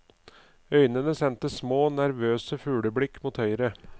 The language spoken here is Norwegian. Øynene sendte små, nervøse fugleblikk mot høyre.